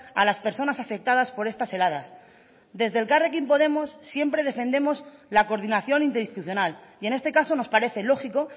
a las personas afectadas por estas heladas desde elkarrekin podemos siempre defendemos la coordinación interinstitucional y en este caso nos parece lógico